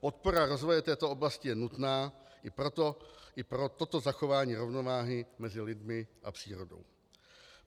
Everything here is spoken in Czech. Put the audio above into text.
Podpora rozvoje této oblasti je nutná i pro toto zachování rovnováhy mezi lidmi a přírodou.